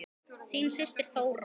Þín systir Þóra.